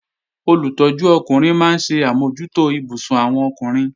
Olùtọ́jú ọkùnrin máa ń ṣe àmójútó ibùsùn àwọn ọkùnrin